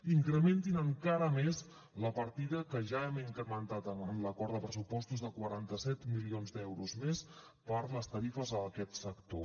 incrementin encara més la partida que ja hem incrementat en l’acord de pressupostos de quaranta set milions d’euros més per les tarifes a aquest sector